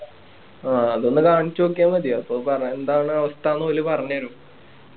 അത് ഒന്ന് കാണിച്ചു നോക്കിയാ മതി അപ്പൊ എന്താണ് അവസ്ഥ എന്ന് ഓല് പറഞ്ഞു തരും